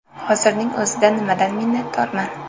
Hozirning o‘zida nimadan minnatdorman?